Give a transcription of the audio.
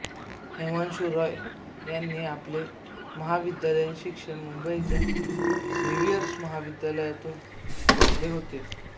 हिमांशु राॅय यांनी आपले महाविद्यालयीन शिक्षण मुंबईच्या झेव्हियर्स महाविद्यालयातून घेतले होते